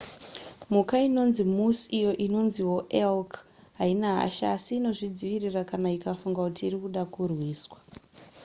mhuka inonzi moose iyo inonziwo elk haina hasha asi inozvidzivirira kana ikafunga kuti iri kuda kurwiswa